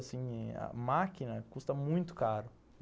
Assim, a máquina custa muito caro.